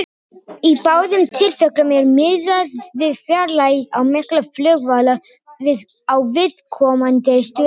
Í báðum tilfellum er miðað við fjarlægð á milli flugvalla á viðkomandi stöðum.